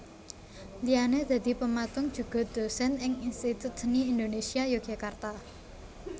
Liyane dadi pematung juga dosen ing Institut Seni Indonésia Yogyakarta